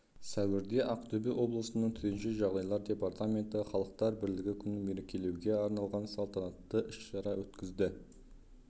сәуірде ақтөбе облысының төтенше жағдайлар департаменті халықтар бірлігі күнін мерекелеуге арналған салтанатты іс-шара өткізді